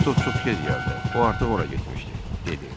Kristof çox gec gəldi, o artıq ora getmişdi, dedi.